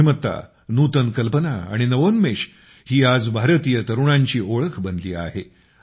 बुद्धिमत्ता नूतन कल्पना आणि नवोन्मेष ही आज भारतीय तरुणांची ओळख बनली आहे